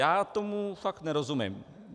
Já tomu fakt nerozumím.